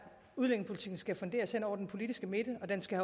udlændingepolitikken skal funderes hen over den politiske midte og den skal